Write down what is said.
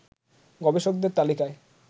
গবেষকদের তালিকায়